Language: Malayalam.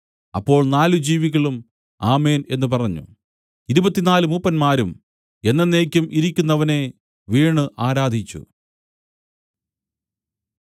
അപ്പോൾ നാല് ജീവികളും ആമേൻ എന്നു പറഞ്ഞു ഇരുപത്തിനാല് മൂപ്പന്മാരും എന്നെന്നേക്കും ഇരിക്കുന്നവനെ വീണു ആരാധിച്ചു